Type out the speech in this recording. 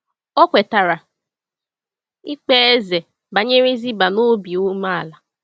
O kwetara ikpe eze banyere Ziba n’obi umeala.